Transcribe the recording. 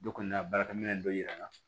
Dɔ kɔni y'a baarakɛminɛn dɔ yir'an na